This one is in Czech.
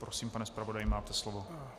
Prosím, pane zpravodaji, máte slovo.